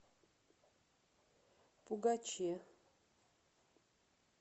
пугаче